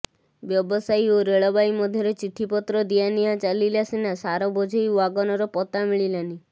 ବ୍ୟବସାୟୀ ଓ ରେଳବାଇ ମଧ୍ୟରେ ଚିଠିପତ୍ର ଦିଆନିଆ ଚାଲିଲା ସିନା ସାର ବୋଝେଇ ୱାଗନର ପତ୍ତା ମିଳିଲାନି